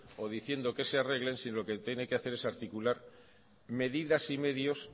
o diciendo que se arreglen sino lo que tiene que hacer es articular medidas y medios